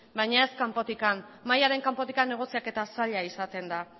baina ez kanpotik mahaiaren kanpotik negoziaketa zaila izaten da